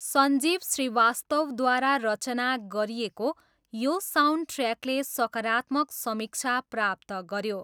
सञ्जीव श्रीवास्तवद्वारा रचना गरिएको यो साउन्डट्र्याकले सकारात्मक समीक्षा प्राप्त गऱ्यो।